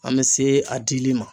An bɛ se a dili ma